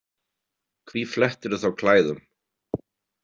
Hví flettirðu þá klæðum?